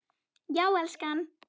Já, elskan?